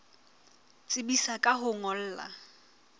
tsebisa ka ho o ngolla